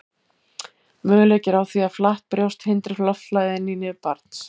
möguleiki er á því að flatt brjóst hindri loftflæði inn í nef barns